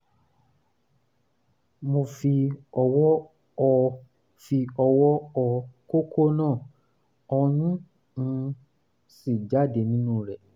mo fi ọwọ́ họ fi ọwọ́ họ kókó náà ọyún um sì jáde nínú rẹ̀